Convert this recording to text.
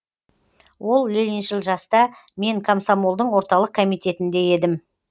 ол лениншіл жаста мен комсомолдың орталық комитетінде едім